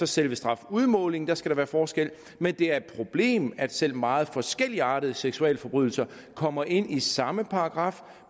selve strafudmålingen skal der være forskel men det er et problem at selv meget forskelligartede seksualforbrydelser kommer ind i samme paragraf